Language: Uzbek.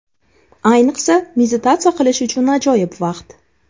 Ayniqsa, meditatsiya qilish uchun ajoyib vaqt.